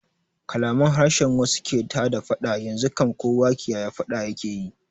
Kalaman harshen wasu ke tada faɗa, yanzu kam kowa kiyaye faɗa yake yi